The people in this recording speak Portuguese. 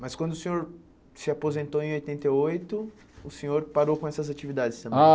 Mas quando o senhor se aposentou em oitenta e oito, o senhor parou com essas atividades também? Ah